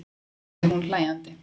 sagði hún hlæjandi.